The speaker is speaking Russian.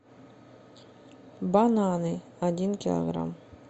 бананы один килограмм